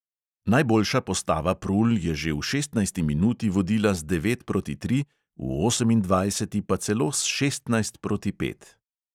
Najboljša postava prul je že v šestnajsti minuti vodila z devet proti tri, v osemindvajseti pa celo s šestnajst proti pet.